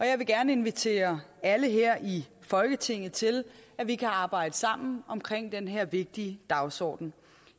jeg vil gerne invitere alle her i folketinget til at vi kan arbejde sammen om den her vigtige dagsordenen